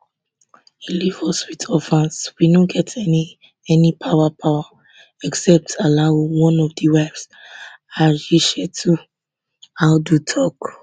e leave us wit orphans we no get any any power power except allahu one of di wives hadishetu audu tok